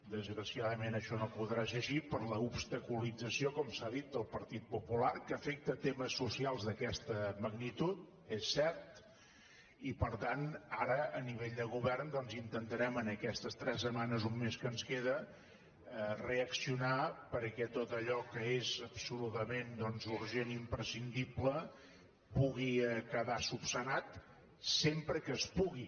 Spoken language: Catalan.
desgraciadament això no podrà ser així per l’obstaculització com s’ha dit del partit popular que afecta temes socials d’aquesta magnitud és cert i per tant ara a nivell de govern doncs intentarem en aquestes tres setmanes o un mes que ens queda reaccionar perquè tot allò que és absolutament urgent i imprescindible pugui quedar resolt sempre que es pugui